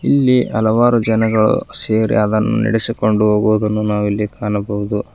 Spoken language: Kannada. ಅಲ್ಲಿ ಹಲವಾರು ಜನಗಳು ಸೇರಿ ಅದನ್ನು ನಡೆಸಿಕೊಂಡು ಹೋಗುವುದನ್ನು ನಾವು ಇಲ್ಲಿ ಕಾಣಬಹುದು.